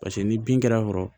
Paseke ni bin kɛr'a kɔrɔ